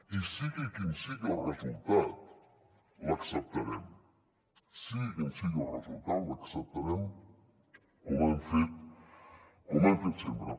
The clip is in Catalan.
i sigui quin sigui el resultat l’acceptarem sigui quin sigui el resultat l’acceptarem com hem fet sempre